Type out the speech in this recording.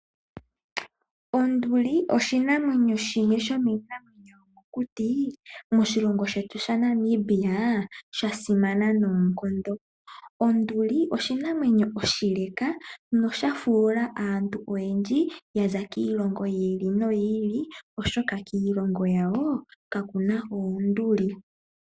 Onduli oshinamwenyo shimwe shomiinamwenyo yomokuti moshilongo shetu sha Namibia sha simana noonkondo. Onduli oshinamwenyo oshileka nosha fuula aantu oyendji yaza kiilongo yi ili noyi ili oshoka kiilongo yawo kakuna oonduli.